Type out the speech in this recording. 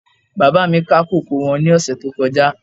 Bàbá mi ká kókò wọn ní ọ̀sẹ̀ tó kọjá